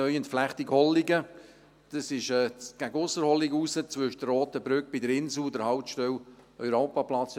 Diese befindet sich in Richtung Ausserholligen, zwischen der roten Brücke bei der Insel und der Haltestelle Europaplatz.